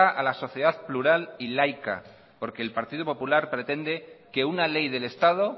a la sociedad plural y laica porque el partido popular pretende que una ley del estado